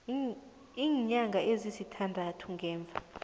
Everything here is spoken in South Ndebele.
iinyanga ezisithandathu ngemva